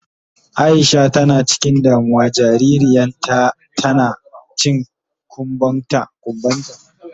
Aisha tana cikin damuwa jaririyan ta tana cin kumban ta.